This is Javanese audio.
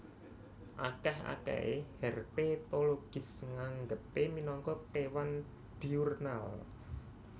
Akèh akèhé herpetologis nganggepé minangka kéwan diurnal